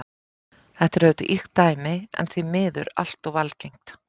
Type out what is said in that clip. Þetta er auðvitað ýkt dæmi en því miður allt of algengt.